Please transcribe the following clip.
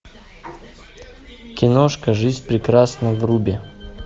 киношка жизнь прекрасна вруби